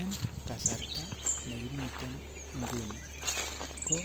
En kasarta ne kimiten ngunii ko